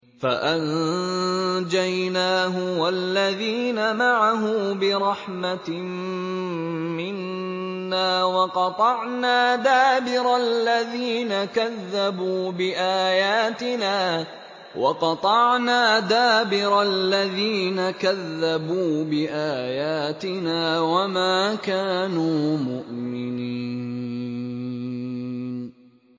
فَأَنجَيْنَاهُ وَالَّذِينَ مَعَهُ بِرَحْمَةٍ مِّنَّا وَقَطَعْنَا دَابِرَ الَّذِينَ كَذَّبُوا بِآيَاتِنَا ۖ وَمَا كَانُوا مُؤْمِنِينَ